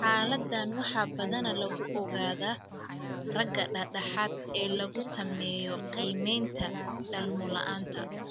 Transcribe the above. Xaaladdan waxaa badanaa lagu ogaadaa ragga da'da dhexe ee lagu sameeyo qiimeynta dhalmo la'aanta.